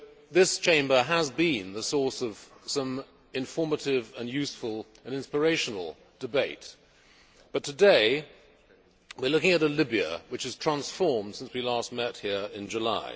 This Chamber has been the source of some informative and inspirational debate, but today we are looking at a Libya which has transformed since we last met here in July.